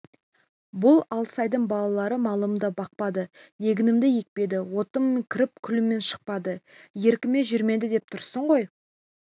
бұл алсайдың балалары малымды бақпады егінімді екпеді отыммен кіріп күліммен шықпады еркіме жүрмеді деп тұрсың ғой